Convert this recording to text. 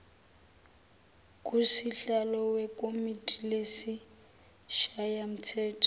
kusihlalo wekomidi lesishayamthetho